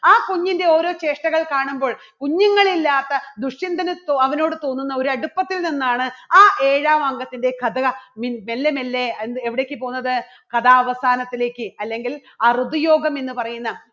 ആ കുഞ്ഞിൻറെ ഓരോ ചേഷ്ടകൾ കാണുമ്പോൾ കുഞ്ഞുങ്ങൾ ഇല്ലാത്ത ദുഷ്യന്തന് അവനോട് തോന്നുന്ന ഒരു അടുപ്പത്തിൽ നിന്നാണ് ആ ഏഴാം അംഗത്തിന്റെ കഥ മെല്ലെ മെല്ലെ എവിടേക്ക് പോകുന്നത് കഥാവസാനത്തിലേക്ക് അല്ലെങ്കിൽ അറുതിയോഗം എന്ന് പറയുന്ന